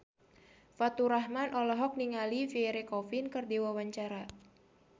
Faturrahman olohok ningali Pierre Coffin keur diwawancara